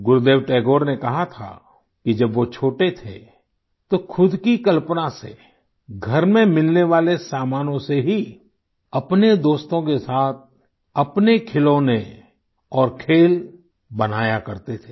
गुरुदेव टैगोर ने कहा था कि जब वो छोटे थे तो खुद की कल्पना से घर में मिलने वाले सामानों से ही अपने दोस्तों के साथ अपने खिलौने और खेल बनाया करते थे